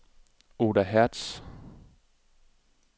Oda Hertz